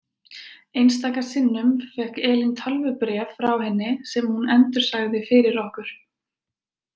Einstaka sinnum fékk Elín tölvubréf frá henni sem hún endursagði fyrir okkur.